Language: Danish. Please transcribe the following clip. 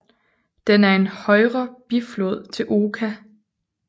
Den er en højre biflod til Oka